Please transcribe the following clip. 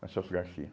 Na Celso Garcia.